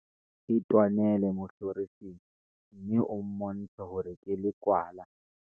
itwanele mohlorising mme o mmontshe hore ke lekwala